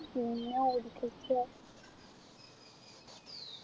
പിന്നെ